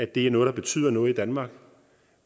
det er noget der betyder noget i danmark